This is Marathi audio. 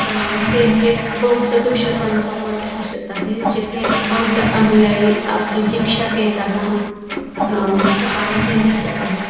आ हे एक बौद्ध भिक्षकांचा मठ दिसत आहे जेथे बौद्ध अनुयायी आपली दीक्षा घेताना अ सकाळचे दिसत आहेत.